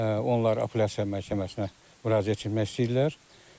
Onlar apelyasiya məhkəməsinə müraciət etmək istəyirlər.